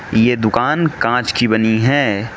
ये दुकान कांच की बनी हैं।